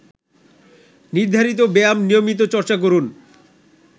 নির্ধারিত ব্যায়াম নিয়মিত চর্চা করুন